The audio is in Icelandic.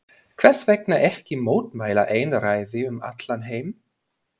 Hversvegna ekki mótmæla einræði um allan heim?